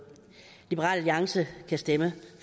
liberal alliance kan stemme